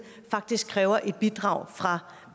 faktisk kræver et bidrag fra